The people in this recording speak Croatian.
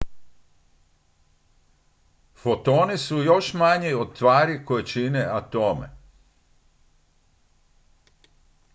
fotoni su još manji od tvari koje čine atome